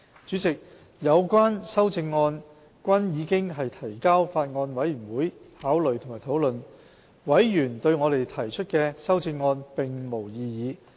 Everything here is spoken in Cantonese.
主席，有關修正案均已提交法案委員會考慮及討論，委員對我們提出的修正案並無異議。